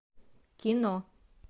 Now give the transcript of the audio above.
кино